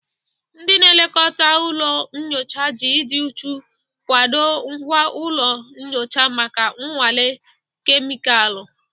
Ndị na-elekọta ụlọ nyocha ji ịdị uchu kwadoo ngwa ụlọ nyocha maka nnwale kemịkalụ.